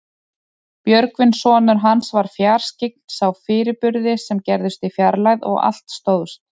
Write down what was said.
Björgvin sonur hans var fjarskyggn, sá fyrirburði sem gerðust í fjarlægð og allt stóðst.